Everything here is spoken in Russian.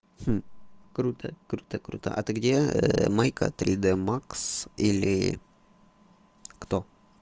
круто круто круто а ты где майка три д макс или кто